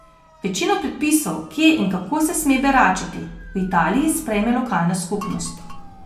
Večino predpisov, kje in kako se sme beračiti, v Italiji sprejme lokalna skupnost.